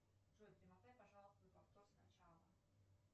джой перемотай пожалуйста на повтор с начала